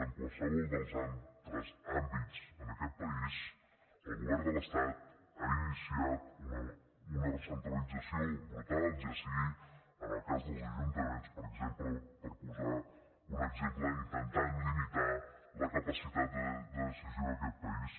en qualsevol dels altres àmbits en aquest país el govern de l’estat ha iniciat una recentralització brutal ja sigui en el cas dels ajuntaments per exemple per posar un exemple intentant limitar la capacitat de decisió d’aquest país